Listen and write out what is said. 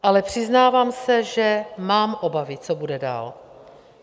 Ale přiznávám se, že mám obavy, co bude dál.